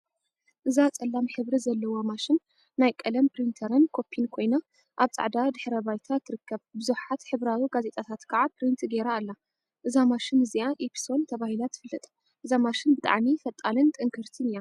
እዛ ፀላም ሕብሪ ዘለዋ ማሽን ናይ ቀለም ፕሪንተርን ኮፒን ኮይና አብ ፃዕዳ ድሕረ ባይታ ትርከብ፡፡ ቡዙሓት ሕብራዊ ጋዜጣታት ከዓ ፕሪንት ገይራ አላ፡፡ እዛ ማሽን እዚአ ኢፕሶን ተባሂላ ትፍለጥ፡፡ እዛ ማሽን ብጣዕሚ ፈጣንን ጥንክርቲን እያ፡፡